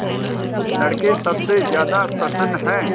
लड़के सबसे ज्यादा प्रसन्न हैं